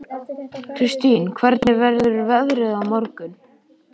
Kristine, hvernig verður veðrið á morgun?